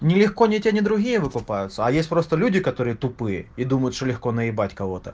нелегко не те ни другие выкупаются а есть просто люди которые тупые и думают что легко наебать кого-то